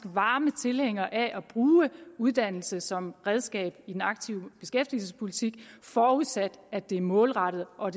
varme tilhængere af at bruge uddannelse som redskab i den aktive beskæftigelsespolitik forudsat at det er målrettet og